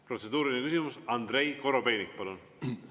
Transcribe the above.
Protseduuriline küsimus, Andrei Korobeinik, palun!